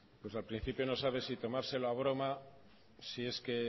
pues al principio no sabe si tomárselo a broma si es que